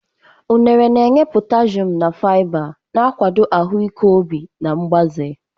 Unere na-enye potassium na fiber, na-akwado ahụike obi na mgbaze.